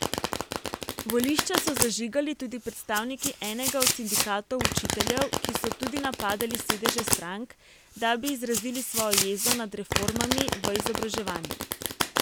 Volišča so zažigali tudi predstavniki enega od sindikatov učiteljev, ki so tudi napadali sedeže strank, da bi izrazili svojo jezo nad reformami v izobraževanju.